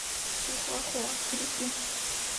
чихуахуа трюки